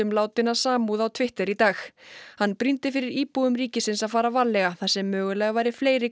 látinna samúð á Twitter í dag hann brýndi fyrir íbúum ríkisins að fara varlega þar sem mögulega væri fleiri